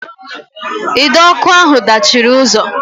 Ide ọkụ ahụ dachiri ụzọ